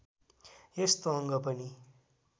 यस्तो अङ्ग पनि